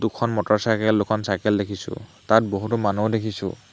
দুখন মটৰচাইকেল দুখন চাইকেল দেখিছোঁ তাত বহুতো মানুহো দেখিছোঁ।